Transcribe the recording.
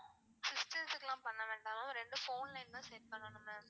system துக்குலாம் பண்ண வேண்டாம் ma'am ரெண்டு phone line தான் set பண்ணனும் ma'am.